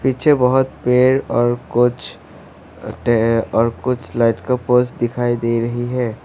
पीछे बहुत पेड़ और कुछ और कुछ लाइट्स के पोल्स दिखाई दे रही है।